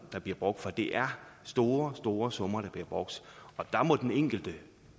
der bliver brugt for det er store store summer der bliver brugt der må den enkelte